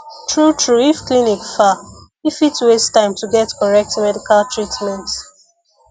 true true if clinic far e fit waste time to get correct medical treatment